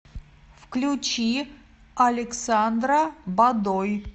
включи александра бадой